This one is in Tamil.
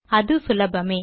அது சுலபமே